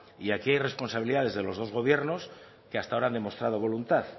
y aquí hay responsabilidades de los dos gobiernos que hasta ahora han demostrado voluntad